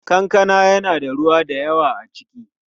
Kankana yana da ruwa da yawa a ciki.